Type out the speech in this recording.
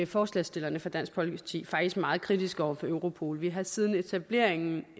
forslagsstillerne fra dansk folkeparti faktisk meget kritiske over for europol vi har siden etableringen